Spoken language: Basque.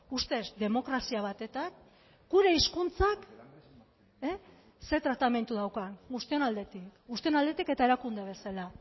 ustez demokrazia batetan gure hizkuntzak zer tratamendu daukan guztion aldetik guztion aldetik eta erakunde bezala